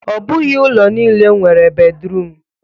Ọ bụghị ụlọ nile nwere bedruum